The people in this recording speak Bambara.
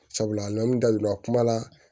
Sabula n da donna kuma la